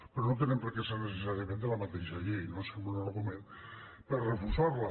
però no tenen per què ser necessàriament de la mateixa llei no sembla un argument per refusar la